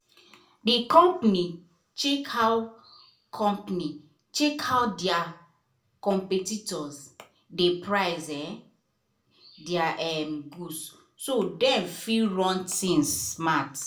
the company check how company check how their competitors dey price um their um goods so dem fit run things smart.